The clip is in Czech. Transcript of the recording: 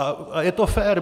A je to fér.